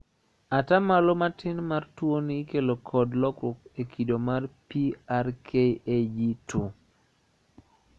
Atamalo matin mar tuoni ikelo kod lokruok e kido mar PRKAG2.